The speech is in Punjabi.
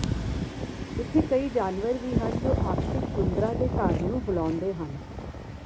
ਇੱਥੇ ਕਈ ਜਾਨਵਰ ਵੀ ਹਨ ਜੋ ਆਰਕਟਿਕ ਟੁੰਡਰਾ ਦੇ ਘਰ ਨੂੰ ਬੁਲਾਉਂਦੇ ਹਨ